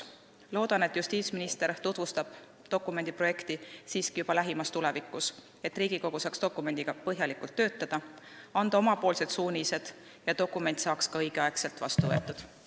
Loodan, et justiitsminister tutvustab dokumendi projekti siiski juba lähimas tulevikus, et Riigikogu saaks dokumendiga põhjalikult töötada ja anda oma suunised ning dokument saaks ka õigel ajal vastu võetud.